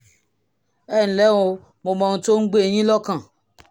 ẹ ǹlẹ́ o mo mọ ohun tó ń gbé yín lọ́kàn